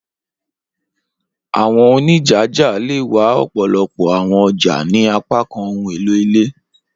Awọn onijaja le wa ọpọlọpọ awọn ọja ni apakan ohun elo ile.